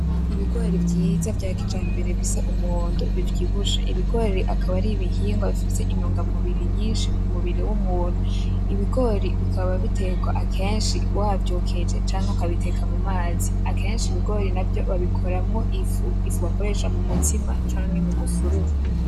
Ibigori vyiza vya kijambere bisa umuhondo bivyibushe, ibigore akaba ari ibihingwa bifise intungamubiri nyinshi kumubiri wumuntu. Ibigori bikaba bitekwa akenshi wavyokeje canke ukabiteka mumazi, akenshi ibigori navyo babikoramwo ifu, ifu bakoresha mumutsima canke mumusururu.